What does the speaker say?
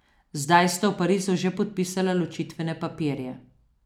Zdaj sta v Parizu že podpisala ločitvene papirje.